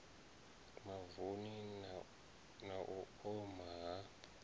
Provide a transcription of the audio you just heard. mavuni na u oma ha